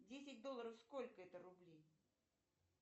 десять долларов сколько это рублей